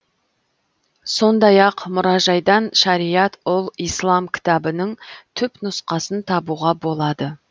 сондай ақ мұражайдан шариат ұл ислам кітабының түпнұсқасын табуға болады